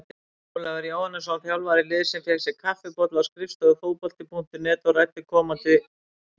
Ólafur Jóhannesson, þjálfari liðsins, fékk sér kaffibolla á skrifstofu Fótbolta.net og ræddi komandi tímabil.